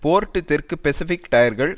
board தெற்கு Pacific டயர்கள்